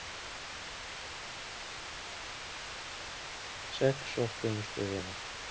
Sex sóttu um stöðuna.